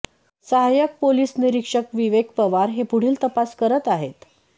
सहायक पोलीस निरीक्षक विवेक पवार हे पुढील तपास करत आहेत